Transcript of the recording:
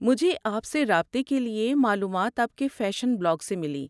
مجھے آپ سے رابطہ کے لیے معلومات آپ کے فیشن بلاگ سے ملی۔